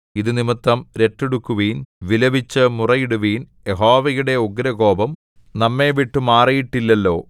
ഇതു നിമിത്തം രട്ടുടുക്കുവിൻ വിലപിച്ചു മുറയിടുവിൻ യഹോവയുടെ ഉഗ്രകോപം നമ്മെ വിട്ടുമാറിയിട്ടില്ലല്ലോ